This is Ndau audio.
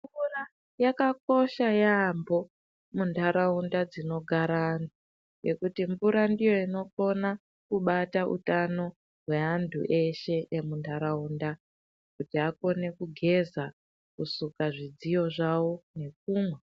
Mvura yakakosha yaambo muntaraunda dzinogara antu. Ngekuti mvura ndiyo inokona kubata utano hwantu eshe emuntaraunda, kuti akone kugeza, kusuka zvidziyo zvavo nekumwa.